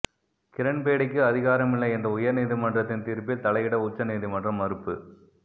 கிரண்பேடிக்கு அதிகாரமில்லை என்ற உயர் நீதிமன்றத்தின் தீர்ப்பில் தலையிட உச்ச நீதிமன்றம் மறுப்பு